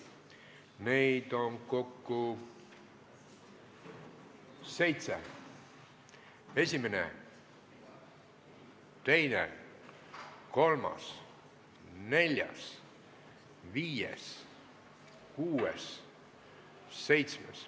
Neid on kokku seitse: esimene, teine, kolmas, neljas, viies, kuues, seitsmes.